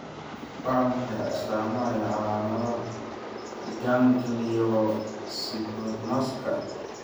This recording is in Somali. Waa maxay astamaha iyo calaamadaha gangliyocytomaska?